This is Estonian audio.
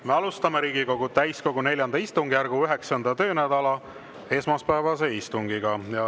Me alustame Riigikogu täiskogu IV istungjärgu 9. töönädala esmaspäevast istungit.